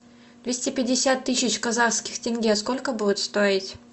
двести пятьдесят тысяч казахских тенге сколько будет стоить